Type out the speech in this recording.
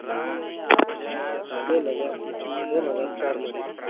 दोन हजार दोन हजार चारमधे.